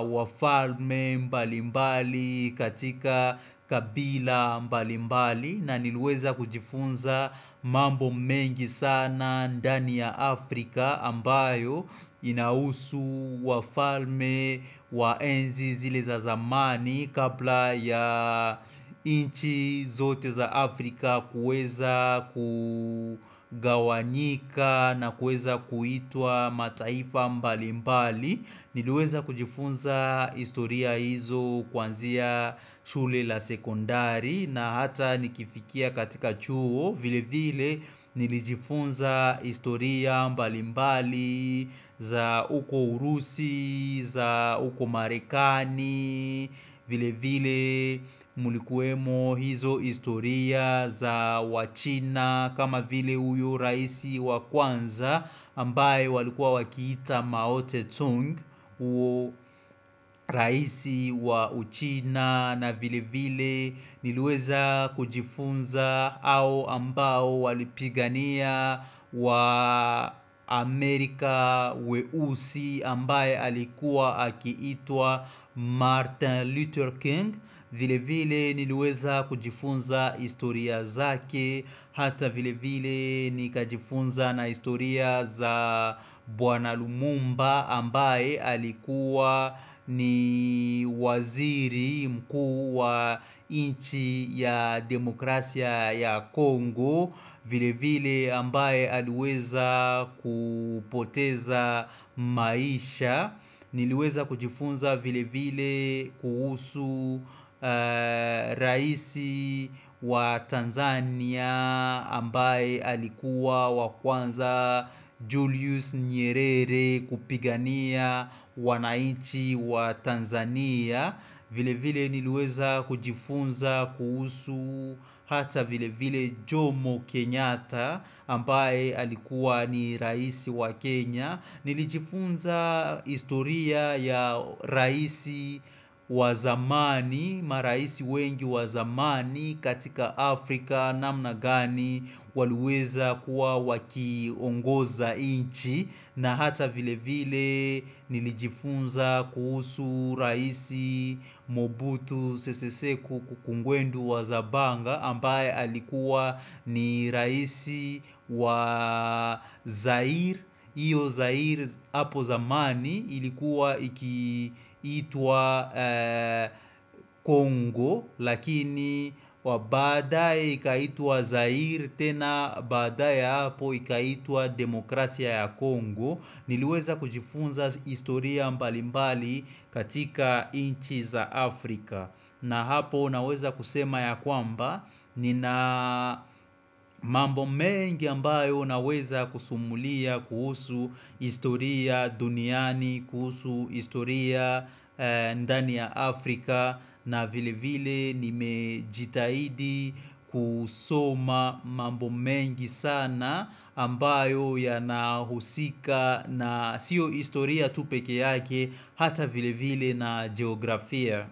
wafalme mbalimbali katika kabila mbalimbali na niliweza kujifunza mambo mengi sana ndani ya Afrika ambayo inahusu wafalme wa enzi zile za zamani kabla ya nchi zote za Afrika kuweza kugawanika na kuweza kuitwa mataifa mbalimbali niliweza kujifunza historia hizo kwanzia shule la sekondari na hata nikifikia katika chuo vile vile nilijifunza historia mbalimbali za uko urusi, za uko marekani, vile vile mulikuemo hizo historia za wachina kama vile uyu raisi wa kwanza ambaye walikuwa wakita maote Tung huyo raisi wa uchina na vile vile niliweza kujifunza hao ambao walipigania waamerika weusi ambaye alikuwa akiitwa Martin Luther King vile vile niliweza kujifunza historia zake hata vile vile nikajifunza na historia za Bwana Lumumba ambaye alikuwa ni waziri mkuu wa nchi ya demokrasia ya Kongo vile vile ambaye aliweza kupoteza maisha niliweza kujifunza vile vile kuhusu raisi wa Tanzania ambaye alikuwa wa kwanza Julius Nyerere kupigania wanainchi wa Tanzania vile vile niliweza kujifunza kuhusu hata vile vile Jomo Kenyata ambaye alikuwa ni raisi wa Kenya nilijifunza historia ya raisi wa zamani Maraisi wengi wa zamani katika Afrika namna gani waliweza kuwa wakiongoza nchi na hata vile vile nilijifunza kuhusu raisi mobutu sese seku kukungwendu wa zabanga ambaye alikuwa ni raisi wa Zair, iyo Zair hapo zamani ilikuwa ikiitwa Kongo lakini wabadae ikaitwa Zair tena baadaye hapo ikaitwa demokrasia ya Kongo niliweza kujifunza historia mbalimbali katika nchi za Afrika na hapo naweza kusema ya kwamba nina mambo mengi ambayo naweza kusimulia kuhusu historia duniani, kuhusu historia ndani ya Afrika na vile vile nimejitahidi kusoma mambo mengi sana ambayo ya nahusika na sio historia tu pekee yake hata vile vile na geografia.